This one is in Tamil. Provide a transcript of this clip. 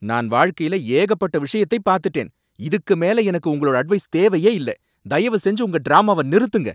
நான் வாழ்க்கையில ஏகப்பட்ட விஷயத்தை பாத்துட்டேன், இதுக்கு மேல எனக்கு உங்களோட அட்வைஸ் தேவையே இல்ல, தயவு செஞ்சு உங்க டிராமாவ நிறுத்துங்க.